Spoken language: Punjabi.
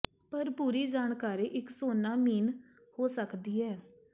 ਪਰ ਪੂਰੀ ਜਾਣਕਾਰੀ ਇਕ ਸੋਨਾ ਮੀਨ ਹੋ ਸਕਦੀ ਹੈ